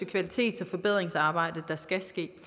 kvalitets og forbedringsarbejde der skal ske